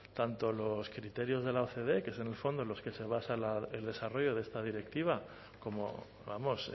tanto los criterios de la ocde que es en el fondo en los que se basa el desarrollo de esta directiva como vamos